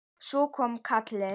Svo kom kallið.